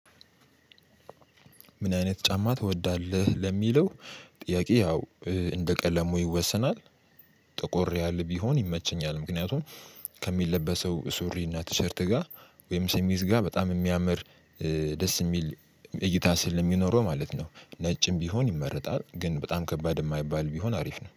ምን አይነት ጫማ ትወዳለህ? ለሚለው ጥያቄ ያው እንደ ቀለሙ ይወሰናል። ጥቁር ያለ ቢሆን ይመቸኛል። ምክንያቱም ከሚለበሰው ሱሪ እና ቲሸርት ጋር ወይም ሸሚዝ ጋ በጣም የሚያምር ደስ የሚል እይታ ስለሚኖረው ማለት ነው። ነጭም ቢሆን ይመረጣል። ግን በጣም ከባድ የማይባል ቢሆን አሪፍ ነው።